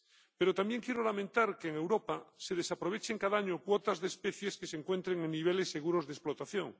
Pero también quiero lamentar que en Europa se desaprovechen cada año cuotas de especies que se encuentren en niveles seguros de explotación.